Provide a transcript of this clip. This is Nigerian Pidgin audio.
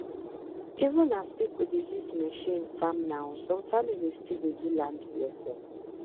even as as people dey use machine farm now some families still dey do land blessing